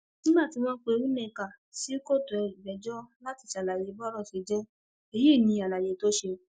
nígbà tí wọn pe nneka sínú kòtò ìgbẹjọ láti ṣàlàyé bọrọ ṣe jẹ èyí ní àlàyé tó ṣe